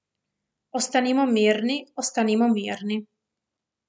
Ostanimo mirni, ostanimo mirni.